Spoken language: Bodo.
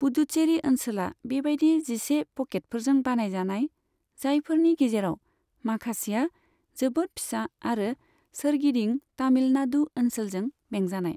पुदुचेरी ओनसोला बेबायदि जिसे पकेटफोरजों बानायजानाय, जायफोरनि गेजेराव माखासेआ जोबोद फिसा आरो सोरगिदिं तमिलनाडु ओनसोलजों बेंजानाय।